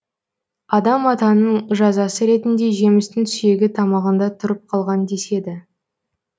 адам атаның жазасы ретінде жемістің сүйегі тамағында тұрып қалған деседі